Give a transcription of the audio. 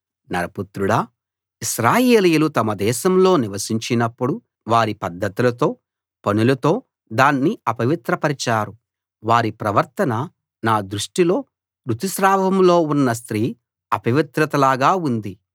నరపుత్రుడా ఇశ్రాయేలీయులు తమ దేశంలో నివసించినప్పుడు వారి పద్ధతులతో పనులతో దాన్ని అపవిత్రపరచారు వారి ప్రవర్తన నా దృష్టిలో రుతుస్రావంలో ఉన్న స్త్రీ అపవిత్రతలాగా ఉంది